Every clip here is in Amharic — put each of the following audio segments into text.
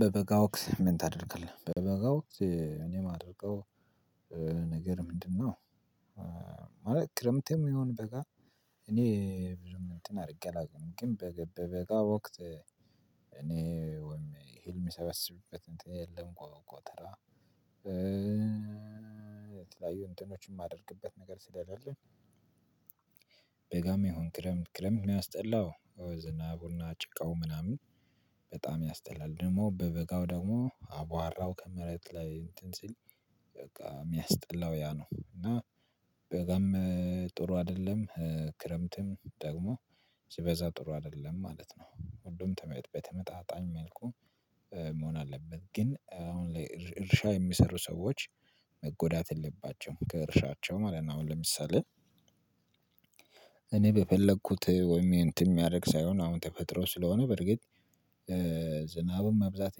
በበጋ ወቅት ምን ታደርጋለህ? በበጋ ወቅት እኔ ማደርገው ነገር ምንድነው ክረምትም ይሁን በጋ እኔ ብዙም እንትን አድርጌ አላውቅም ግን በገጋ ወቅት እኔ እህልም የምሰበሰብበት እንትን የለም ጎተራ የተለያዩ እንትኖችን የማደርግበት ነገር ስለሌለ በጋም የሆነ ክረምት ክረምት የሚያስጠላው ዝናቡና ጭቃው ምናምን በጣም ያስጠላል ደግሞ በበጋው ደግሞ አቧራው ከመሬት ላይ እንትን ሲል በቃ የሚያስጠላው ያ ነው እና በጣም ጥሩ አይደለም ክረምትም ደግሞ ሲበዛ ጥሩ አይደለም ማለት ነው። ሁሉም በተመጣጣኝ መልኩ መሆን አለበት ግን አሁን ላይ እርሻ የሚሰሩ ሰዎች መጎዳት የለባቸውም። ከእርሻቸው ማለት ነው አሁን ለምሳሌ እኔ በፈለኩት ወይም የእንትን የሚያደርግ ሳይሆን አሁን ተፈጥሮ ስለሆነ በርግጥ ዝናብም መብዛት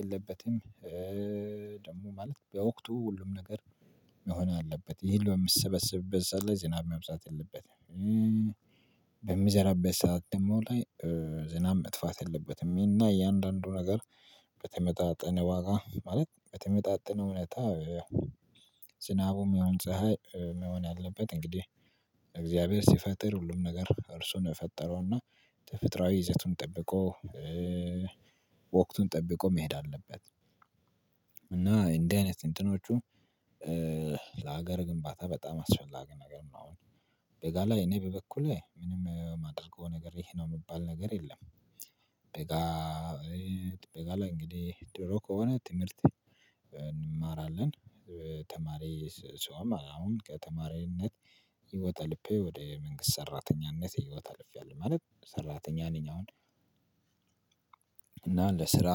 የለበትም ደግሞ ማለት በወቅቱ ሁሉም ነገር መሆን አለበት እህል በሚሰበሰብበት ሰዓት ላይ ዝናብ መብዛት የለበትም። በሚዘራበት ሰዓት ደግሞ ላይ ዝናብ መጥፋት የለበትም። እና የእያንዳንዱ ነገር በተመጣጠነ ዋጋ ማለት በተመጣጠነ ሁኔታ ስናቡም ሆነ ፀሀይ መሆን ያለበት። እንግዲህ እግዚአብሔር ሲፈጥር ሁሉም ነገር እርሱን የፈጠረውና ተፈጥሮአዊ ይዘቱን ጠብቆ ወቅቱን ጠብቆ መሄድ አለበት። እና እንዲህ አይነት እንትኖቹ ለሀገር ግንባታ በጣም አስፈላጊ ነገር ነው። አሁን በጋ ላይ እኔ በበኩሌ ምንም የማደርገው ነገር ይሄ ነው የምባል ነገር የለም። በጋ ላይ እንግዲህ ድሮ ከሆነ ትምህርት እንማራለን። ተማሪ ሰውም አሁን ከተማሪነት ህይወት አልጋ ወደ መንግስት ሰራተኝነት ህይወተ አልፌያለሁ። ማለት ሰራተኛ ነኝ አሁን እና ለስራ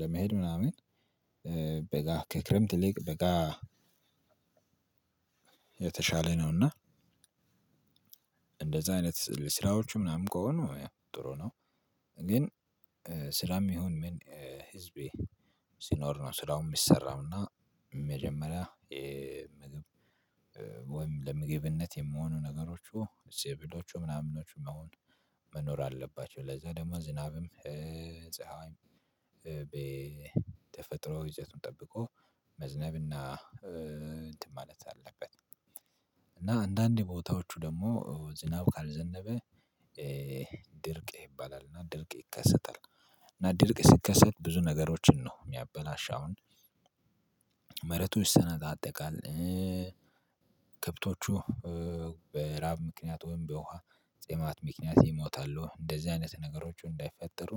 ለመሄድ ምናምን በጋ ከክረምት ይልቅ በጋ የተሻለ ነውና እንደዛ አይነት ስራዎቹ ምናምን ከሆኑ ጥሩ ነው ግን ስራም ይሁን ህዝብ ሲኖር ነው ስራውን የሚሰራው እና መጀመሪያ የምግብ ወይም ለምግብነት ሚሆኑ ነገሮቹ ሰብሎቹ ምናምኖቹም አሁን መኖር አለባቸው ለዛ ደግሞ ዝናብም ፀሀይም በተፈጥሮ ይዘቱን ጠብቆ መዝነብና እንትን ማለት አለበት እና አንዳንድ ቦታዎቹ ደግሞ ዝናብ ካልዘነበ ድርቅ ይባላል። እና ድርቅ ይከሰታል። እና ድርቅ ሲከሰት ብዙ ነገሮችን ነው የሚያበላሽ። አሁን መሬቱ ይሰነጣጠቃል። ከብቶቹ በራብ ምክንያት ወይም በውሃ ጥማት ምክንያት ይሞታሉ። እንደዚህ አይነት ነገሮች እንዳይፈጠሩ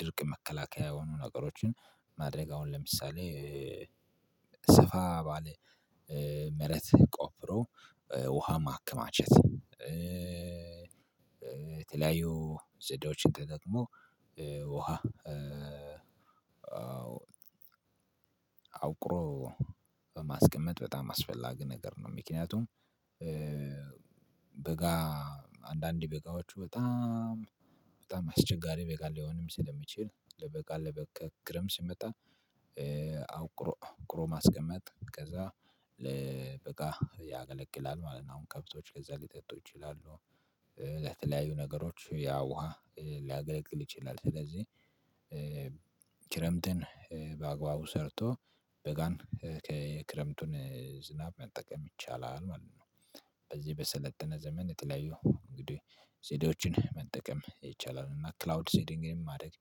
ድርቅ መከላከያ የሆኑ ነገሮችን ማድረግ አሁን ለምሳሌ ሰፋ ባለ መሬት ቆፍሮ ውሃ ማክማቸት። የተለያዩ ዘዴዎችን ከገጠመው ውሃ አቁሮ በማስቀመጥ በጣም አስፈላጊ ነገር ነው ምክንያቱም በጋ አንዳንዴ በጋዎቹ በጣም በጣም አስቸጋሪ በጋ ሊሆንም ስለሚችል ለበጋ ለበጋ ክረምት ሲመጣ አቁሮ ማስቀመጥ ያገለቅላል ማለት ነው። አሁን ከብቶች ከዛ ሊጠጡ ይችላሉ ለተለያዩ ነገሮች ያ ውሃ ሊያገለግል ይችላል ስለዚህ ክረምትን በአግባቡ ሰርቶ በጋን የክረምቱን ዝናብ መጠቀም ይቻላል ማለት ነው። በዚህ በሰለጠነ ዘመን የተለያዮ ዘዴዎችን ይቻላል እና ክላውድ ሴዲንግን ማድረግ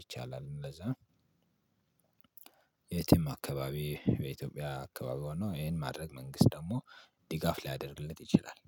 ይቻላልም የትም አካባቢ በኢትዮጵያ አካባቢ ሆኖ ይሄን ማድረግ መንግስት ደግሞ ድጋፍ ሊያደርግለት ይችላል።